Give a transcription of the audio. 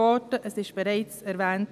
Das wurde schon erwähnt.